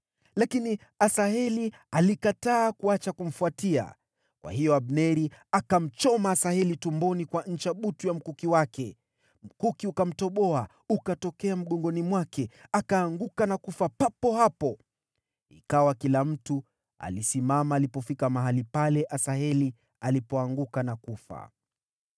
Lakini Asaheli alikataa kuacha kumfuatia, kwa hiyo Abneri akamchoma Asaheli tumboni kwa ncha butu ya mkuki wake, mkuki ukamtoboa ukatokea mgongoni mwake. Akaanguka na kufa papo hapo. Ikawa kila mtu alisimama alipofika mahali pale Asaheli alipoanguka na kufa.